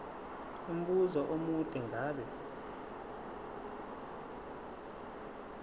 umbuzo omude ngabe